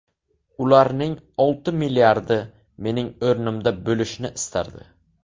Ularning olti milliardi mening o‘rnimda bo‘lishni istardi.